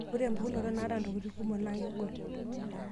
Ore mpukuno naata ntokiting kumok naa kegol.